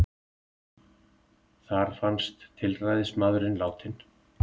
Þar fannst tilræðismaðurinn látinn